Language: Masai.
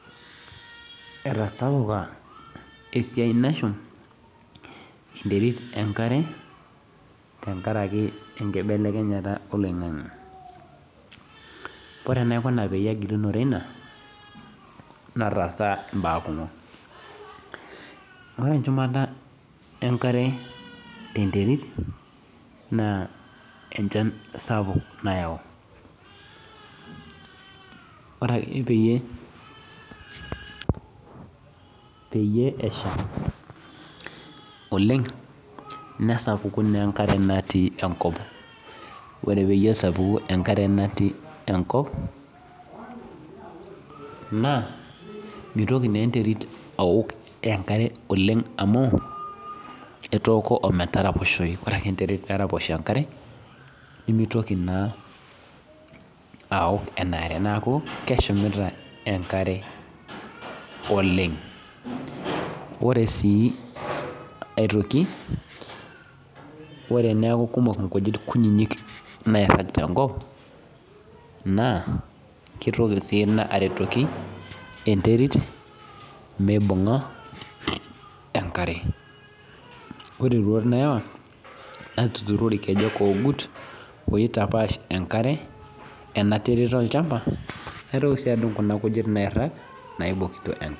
Etasapuka esiai nashum enterit enkare tenkaraki enkibelekenyata oloingangi ore enaikuna apgilunore ina nataasa mbaa kumok amu ore enkishumata enkare tenterit na echan sapuk ore ake peyie esha oleng nesapuku na enkare natii enkop ore pesapuku enkare natiu enkop na mitoki na enterit aok enkare amu etooko ometaraposhoi ore ake enterit peraposho enkare nimitoki na aok enkare neaku keshumita oleng ore si aitoki ore eneaku kumok nkujit kutitik nairagita tenkop na kitoki aretoki enterit mibunga enkare ore roruat nayawa natuturo irkejek ogut naitoki si adung kuna kujit nairag naibokito enkare.